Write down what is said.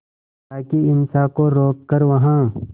ताकि हिंसा को रोक कर वहां